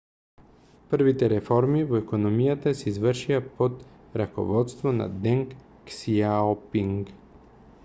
првите реформи во економијата се извршија под раководството на денг ксијаопинг